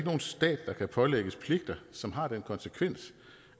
nogen stat der kan pålægges pligter som har den konsekvens